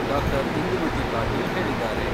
ಡಾ. ಇಂದುಮತಿ ಪಾಟೀಲ್ ಹೇಳಿದ್ದಾರೆ.